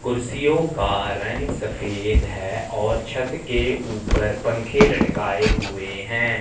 कुर्सियों को का रंग सफेद है और छत के ऊपर पंखे लटकाए हुए हैं।